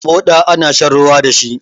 Moɗa ana shan ruwa dashi